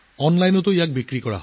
অনলাইনত বিক্ৰী কৰা হৈছে